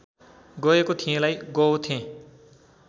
गएको थिएँलाई गओथेँ